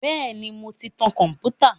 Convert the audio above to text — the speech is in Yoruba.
Bẹ́ẹ̀ ni, mò ń ti tan kọ̀m̀pútà.